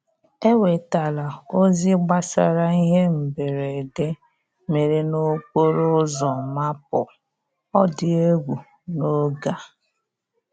E wetala ozi gbasara ihe mberede mere n'okporo ụzọ Maple odiegwu n'oge a